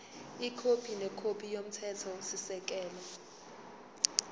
ikhophi nekhophi yomthethosisekelo